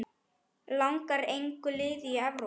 Langar engu liði í Evrópu?